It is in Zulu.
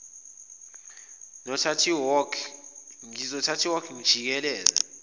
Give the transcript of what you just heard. ngizothatha iwalk ngijikeleze